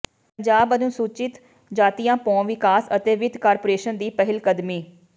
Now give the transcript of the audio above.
ਪੰਜਾਬ ਅਨੁਸੂਚਿਤ ਜਾਤੀਆਂ ਭੋਂ ਵਿਕਾਸ ਅਤੇ ਵਿੱਤ ਕਾਰਪੋਰੇਸ਼ਨ ਦੀ ਪਹਿਲਕਦਮੀ